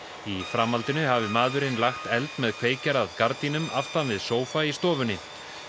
í framhaldinu hafi maðurinn lagt eld með kveikjara að gardínum aftan við sófa í stofunni